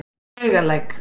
Laugalæk